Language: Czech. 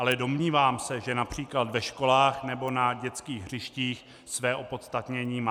Ale domnívám se, že například ve školách nebo na dětských hřištích své opodstatnění má.